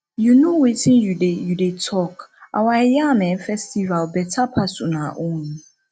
you no wetin you dey you dey talk our yam um festival beta pass una own